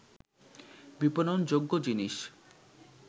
বিপণনযোগ্য জিনিস